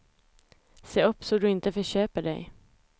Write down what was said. Se upp så du inte förköper dig.